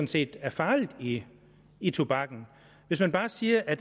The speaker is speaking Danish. set er farligt i i tobakken hvis man bare siger at